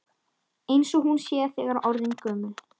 Eins og hún sé þegar orðin gömul.